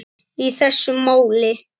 í þessu máli.